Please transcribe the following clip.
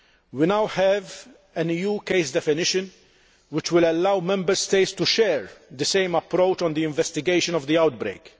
We now have an EU case definition which will allow Member States to share the same approach on the investigation of the outbreak.